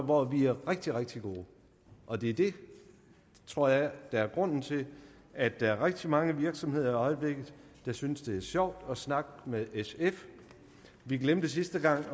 hvor vi er rigtig rigtig gode og det er det tror jeg der er grunden til at der er rigtig mange virksomheder i øjeblikket der synes det er sjovt at snakke med sf vi glemte sidste gang